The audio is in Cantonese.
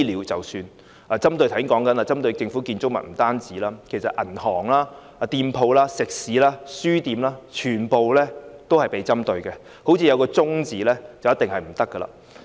正如我剛才提到，他們不單針對政府建築物，其實銀行、店鋪、食肆和書店全部均被針對，好像有"中"字便不行。